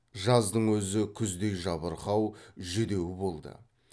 жаздың өзі күздей жабырқау жүдеу болды